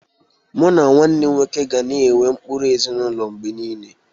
Mụ na nwanne m nwoke ga na-enwe ụkpụrụ ezinụlọ mgbe niile.